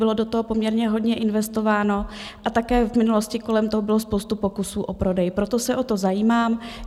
Bylo do toho poměrně hodně investováno a také v minulosti kolem toho byla spousta pokusů o prodej, proto se o to zajímám.